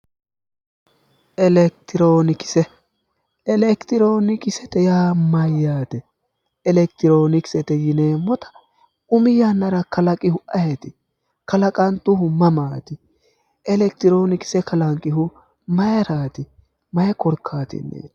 Elekitiroonikise, Elekitiroonikise yaa mayyaate? Elekitiroonikisete yineemmota umi yannara kalaqinnohu ayeeti? kalaqntuhu mamaati? Elekitiroonikise kalanqihu maayiiraati? mayi korkaatinniiti?